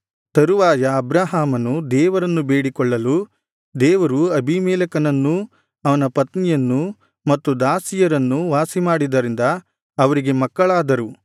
ತರುವಾಯ ಅಬ್ರಹಾಮನು ದೇವರನ್ನು ಬೇಡಿಕೊಳ್ಳಲು ದೇವರು ಅಬೀಮೆಲೆಕನನ್ನೂ ಅವನ ಪತ್ನಿಯನ್ನೂ ಮತ್ತು ದಾಸಿಯರನ್ನೂ ವಾಸಿಮಾಡಿದ್ದರಿಂದ ಅವರಿಗೆ ಮಕ್ಕಳಾದರು